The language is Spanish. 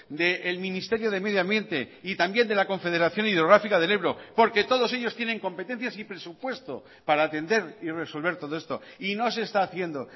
del ministerio de medio ambiente y también de la confederación hidrográfica del ebro porque todos ellos tienen competencias y presupuesto para atender y resolver todo esto y no se está haciendo